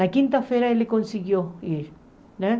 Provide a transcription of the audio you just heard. Na quinta-feira ele conseguiu ir, né?